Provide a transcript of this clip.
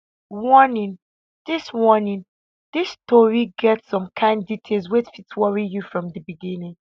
warning dis warning dis tori get some kain details wey fit worry you from di beginning